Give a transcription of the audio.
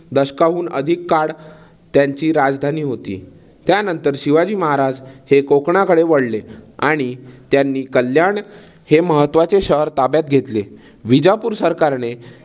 दशकाहून अधिक काळ त्यांची राजधानी होती. त्यानंतर शिवाजी महाराज हे कोकणाकडे वळले आणि त्यांनी कल्याण हे महत्वाचे शहर ताब्यात घेतले. विजापूर सरकारने